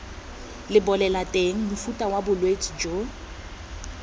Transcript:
lebolelateng mofuta wa bolwetse jo